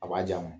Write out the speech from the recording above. A b'a di a ma